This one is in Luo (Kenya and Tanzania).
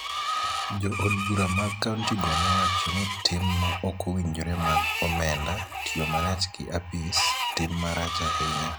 Jo od bura mar kaonti go nowacho ni tim ma ok owinjore mag omenda, tiyo marach gi apis, tim marach ahinya